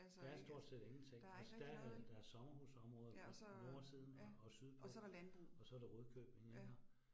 Der er stort set ingenting. Altså der er der er sommerhusområdet på på nordsiden og og sydpå, og så der Rudkøbing iggå